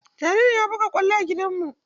Jaririn ya buga kwallo a gidan mu.